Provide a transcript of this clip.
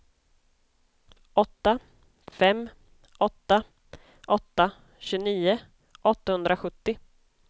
åtta fem åtta åtta tjugonio åttahundrasjuttio